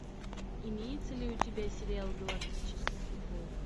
имеется ли у тебя сериал галактический футбол